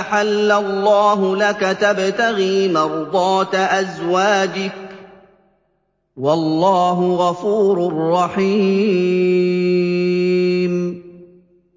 أَحَلَّ اللَّهُ لَكَ ۖ تَبْتَغِي مَرْضَاتَ أَزْوَاجِكَ ۚ وَاللَّهُ غَفُورٌ رَّحِيمٌ